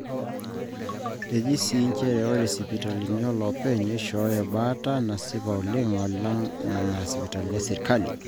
eji sii njere ore sipitali olopeny neishooyo baata nasipa oleng alang nena sipitalini esirkali